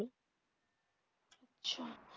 আচ্ছা